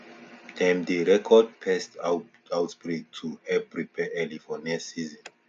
dem dey record pest outbreaks to help prepare early for next season